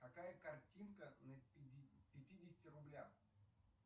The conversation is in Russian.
какая картинка на пятидесяти рублях